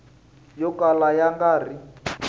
yo kala ya nga ri